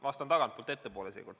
Vastan tagantpoolt ettepoole.